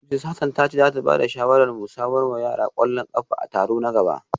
Mrs Hassan ta ce za ta ba da shawarar mu samar wa yara kwallon kafa a taro na gaba